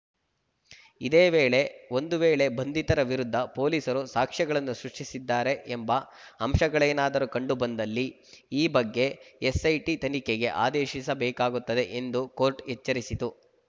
ಇದೇ ವೇಳೆ ಒಂದು ವೇಳೆ ಬಂಧಿತರ ವಿರುದ್ಧ ಪೊಲೀಸರು ಸಾಕ್ಷ್ಯಗಳನ್ನು ಸೃಷ್ಟಿಸಿದ್ದಾರೆ ಎಂಬ ಅಂಶಗಳೇನಾದರೂ ಕಂಡುಬಂದಲ್ಲಿ ಈ ಬಗ್ಗೆ ಎಸ್‌ಐಟಿ ತನಿಖೆಗೆ ಆದೇಶಿಸಬೇಕಾಗುತ್ತದೆ ಎಂದೂ ಕೋರ್ಟ್‌ ಎಚ್ಚರಿಸಿತು